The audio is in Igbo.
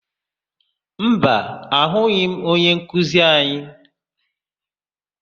Mba, ahụghị m onyenkuzi anyị.